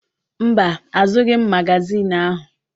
Mba, azụghị m magaziini ahụ.